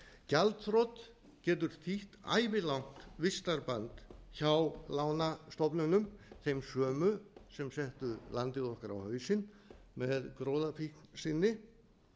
gjaldþrot getur þýtt ævilangt vistarband hjá lánastofnunum þeim sömu og settu landið okkar á hausinn með gróðafíkn sinni